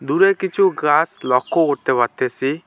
দূরে কিছু গাছ লক্ষ্য করতে পারতেসি।